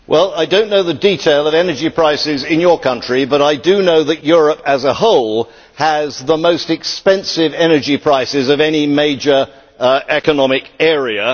Well, I do not know the details of energy prices in your country, but I do know that Europe as a whole has the most expensive energy prices of any major economic area.